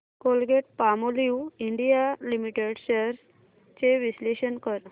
Colgate Palmolive India Limited shares चे विश्लेषण कर